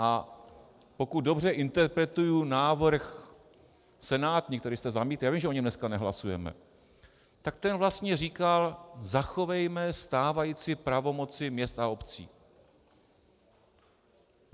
A pokud dobře interpretuji návrh senátní, který jste zamítli, já vím, že o něm dneska nehlasujeme, tak ten vlastně říkal "zachovejme stávající pravomoci měst a obcí".